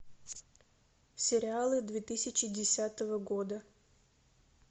сериалы две тысячи десятого года